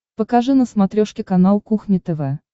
покажи на смотрешке канал кухня тв